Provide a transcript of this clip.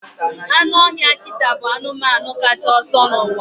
Anụ ọhịa cheeta bụ anụmanụ kacha ọsọ n'ụwa